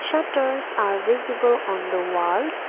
shutters are visible on the walls.